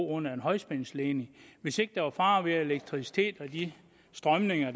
under en højspændingsledning hvis ikke der var fare ved elektricitet og de strømninger